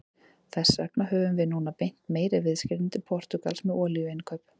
Þess vegna höfum við núna beint meiri viðskiptum til Portúgals með olíuinnkaup.